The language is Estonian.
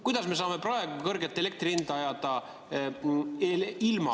Kuidas me saame praegu kõrget elektri hinda ajada ilma kaela?